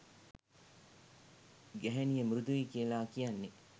ගැහැනිය මෘදුයි කියලා කියන්නෙ